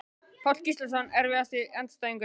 Páll Gíslason Erfiðasti andstæðingur?